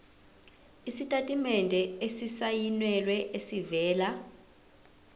isitatimende esisayinelwe esivela